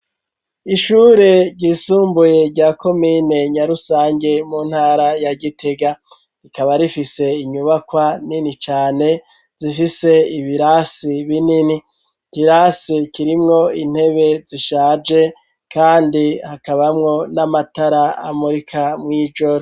Ishure ryisumbuye rya ko mine nyarusange mu ntara ya gitega rikaba rifise inyubakwa nini cane zifise ibirasi binini ikirasi kirimwo intebe zishaje, kandi hakabamwo n'amatara amurika mw'ijoro.